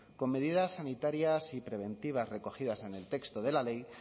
con medidas sanitarias y preventivas recogidas en el texto de la ley